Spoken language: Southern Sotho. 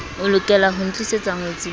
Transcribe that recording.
e lokelaho ntlisetsa ngwetsi le